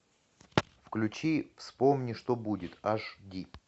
включи вспомни что будет аш ди